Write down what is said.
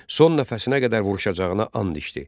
Son nəfəsinə qədər vuruşacağına and içdi.